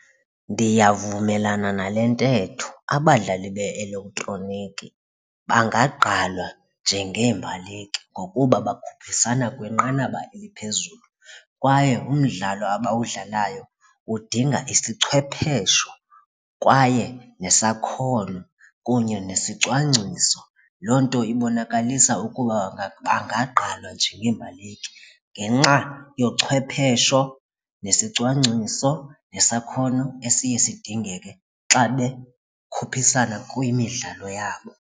Ndiyavumelana nale ntetho abadlali be-elektroniki bangagqalwa njeengeembaleki ngokuba bakhuphisana kwinqanaba eliphezulu kwaye umdlalo abawudlalayo udinga isichwephesho kwaye nesakhono kunye nesicwangciso, loo nto ibonakalisa ukuba bangaqalwa njengeembaleki ngenxa yochwephesho nesicwangciso nesakhono esiye sidingeka ke xa bekhuphisana kwimidlalo yabo.